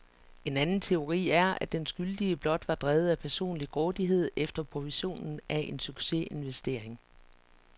En anden teori er, at den skyldige blot var drevet af personlig grådighed efter provisionen af en succesinvestering.